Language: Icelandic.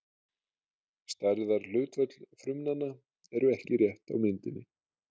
Stærðarhlutföll frumnanna eru ekki rétt á myndinni.